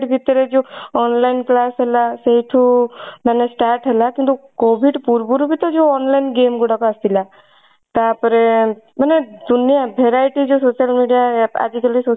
ଭିତରେ ଯୋଉ online class ହେଲା ସେଇଠୁ ମାନେ start ହେଲା କିନ୍ତୁ COVID ପୂର୍ବରୁ ବି ତ ଯଉ online game ଗୁଡାକ ଆସିଥିଲା ତାପରେ ମାନେ ଦୁନିଆ variety ଯୋ social media app ଆଜି କାଲି